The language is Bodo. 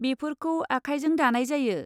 बेफोरखौ आखायजों दानाय जायो।